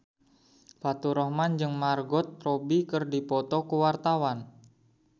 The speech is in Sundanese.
Faturrahman jeung Margot Robbie keur dipoto ku wartawan